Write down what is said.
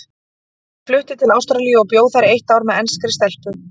Ég flutti til Ástralíu og bjó þar eitt ár með enskri stelpu.